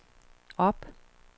op